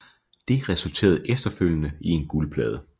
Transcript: Det resulterede efterfølgende i en guldplade